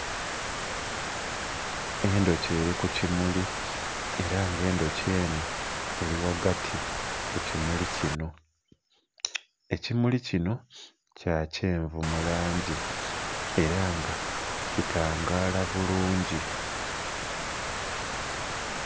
Endhuki eli ku kimuli era nga endhuki enho eli ghagati ku kimuli kino. Ekimuli kino kya kyenvu mu langi era nga kitangaala bulungi.